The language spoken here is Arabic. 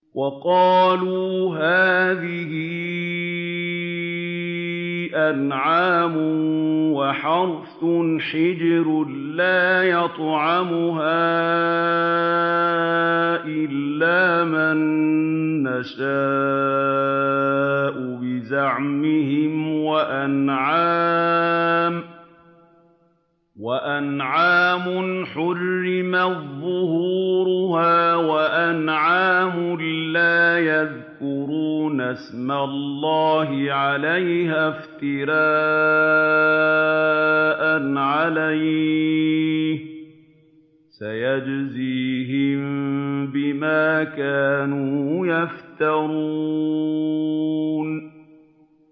وَقَالُوا هَٰذِهِ أَنْعَامٌ وَحَرْثٌ حِجْرٌ لَّا يَطْعَمُهَا إِلَّا مَن نَّشَاءُ بِزَعْمِهِمْ وَأَنْعَامٌ حُرِّمَتْ ظُهُورُهَا وَأَنْعَامٌ لَّا يَذْكُرُونَ اسْمَ اللَّهِ عَلَيْهَا افْتِرَاءً عَلَيْهِ ۚ سَيَجْزِيهِم بِمَا كَانُوا يَفْتَرُونَ